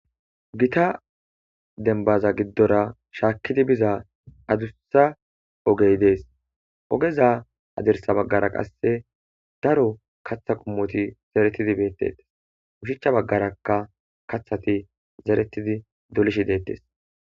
Giitta dembbaza giddora shakidi biiza addussa oggey dess oggeza hadirssa baggara qasse daro kaththa qommoti zeretidi bettes ushshacha baggarakka kaththati zeretidi dolishshe dettes.